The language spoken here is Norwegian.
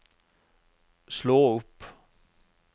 slå opp